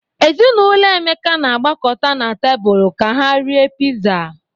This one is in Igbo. Ezinaụlọ Emeka na-agbakọta na tebụl ka ha rie Piza.